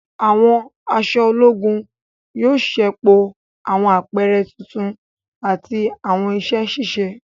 Àwọn aṣọ ológùn yóò ṣepọ awọn apẹrẹ títún ati awọn iṣẹ ṣiṣe.